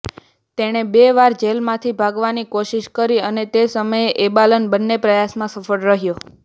તેણે બે વાર જેલમાંથી ભાગવાની કોશિશ કરી અને તે સમયે એબાલન બંને પ્રયાસમાં સફળ રહ્યો